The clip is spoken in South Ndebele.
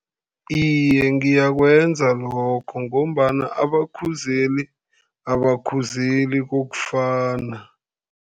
Iye, ngiyakwenza lokho, ngombana abakhuzeli abakhuzeli kokufana.